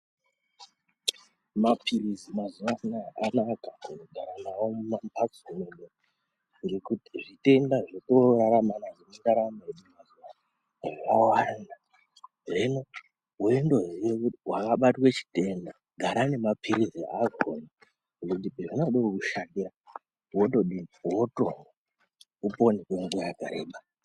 Mapilizi mazuwa ano aya anaka kugara nawo mumambatso mwedu ngekuti zvitenda zvetonorarama nazvo mundaramo yedu mazuwa ano zvawanda hino weindoziye kuti wakabatwe chitenda gara nemapilizi akona ngekuti pazvinode kukushatira wotodini wotomwa upone kwenguwa yakareba.